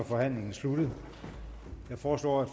er forhandlingen sluttet jeg foreslår at